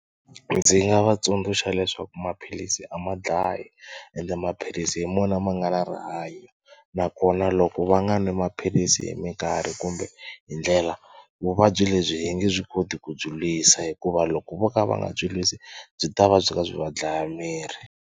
Ndzi nga va tsundzuxa leswaku maphilisi a ma dlayi ende maphilisi hi mona ma nga na rihanyo nakona loko va nga nwi maphilisi hi mikarhi kumbe hi ndlela vuvabyi lebyi hi nge byi koti ku byi lwisa hikuva loko vo ka va nga byi lwisi byi ta va byi va byi va dlaya miri.